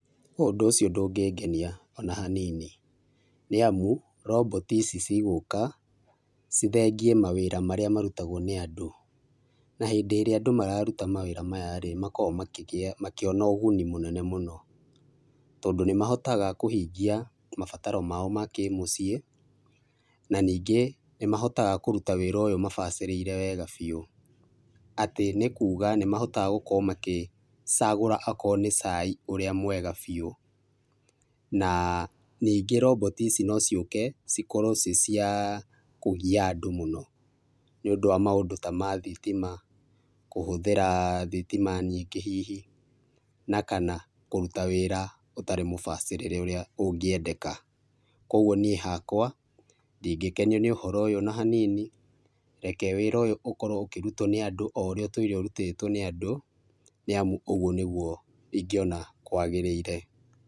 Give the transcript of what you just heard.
Ũndũ ũcio ndũngĩngenia ona hanini, nĩ amu roboti ici cigũka ,cithengie ma wĩra marĩa marutagwo nĩ andũ, na hĩndĩ ĩrĩa andũ mararuta mawĩra maya rĩ makoragwo makĩgĩa, makĩona ũguni mũnene mũno, tondũ nĩ mahotaga kũhingia mabataro mao makĩ mũciĩ na ningĩ nĩ mahotaga kũruta wĩra ũyũ mabacĩrĩire wega biũ, atĩ nĩ kuga nĩ mahotaga gũkorwo magĩcagũra akorwo nĩ cai ũrĩa mwega biũ na ningĩ roboti ici nociũke cikorwo cirĩ cia kũgia andũ mũno, nĩ ũndũ wa maũndũ ta mathitima kũhũthĩra thitima nyingĩ hihi, na kana kũruta wĩra ũtarĩ mũbacĩrĩre ũrĩa ũngĩendeka, kwoguo niĩ hakwa ndingĩkenio nĩ ũhoro ũyũ ona hanini, reke wĩra ũyũ ũkorwo ũkĩrutwo nĩ andũ o ũrĩa ũtũire ũrutĩtwo nĩ andũ nĩ amũ ũguo nĩguo ingĩ ona kwagĩrĩire.